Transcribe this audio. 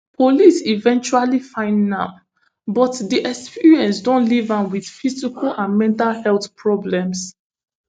police eventually find nam but di experience don leave am wit physical and mental health problems